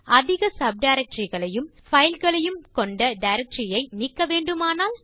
அதிக சப்டைரக்டரி களையும் பைல் களையும் கொண்ட டைரக்டரி ஐ நீக்க வேண்டுமானால்